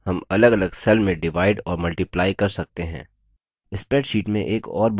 उसी तरह हम अलगअलग cells में डिवाइड और multiply कर सकते हैं